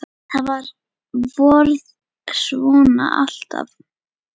ÞAÐ VARÐ SVONA ALLTAF